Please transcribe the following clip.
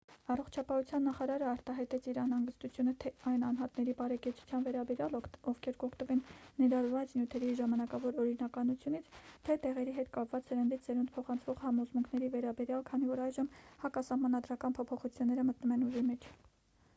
առողջապահության նախարարը արտահայտեց իր անհանգստությունը թե այն անհատների բարեկեցության վերաբերյալ ովքեր կօգտվեն ներառված նյութերի ժամանակավոր օրինականությունից թե դեղերի հետ կապված սերնդից սերունդ փոխանցվող համոզմունքների վերաբերյալ քանի որ այժմ հակասահմանադրական փոփոխությունները մտնում են ուժի մեջ